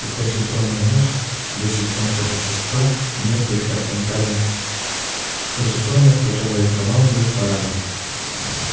и позитронный мозг десять фунтов вещества и несколько квинтильонов позитронов которые командуют парадом